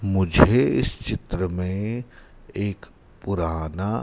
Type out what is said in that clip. मुझे इस चित्र में एक पुराना--